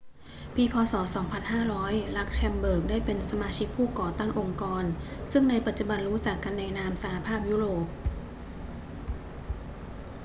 ปี พ. ศ. 2500 ลักเซมเบิร์กได้เป็นสมาชิกผู้ก่อตั้งองค์กรซึ่งในปัจจุบันรู้จักกันในนาม สหภาพยุโรป